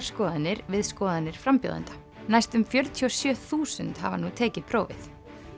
skoðanir við skoðanir frambjóðenda næstum fjörutíu og sjö þúsund hafa nú tekið prófið